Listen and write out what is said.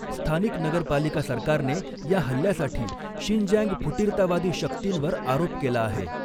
स्थानिक नगरपालिका सरकारने या हल्ल्यासाठी 'शिंजँग फुटीरतावादी शक्तींवर' आरोप केला आहे.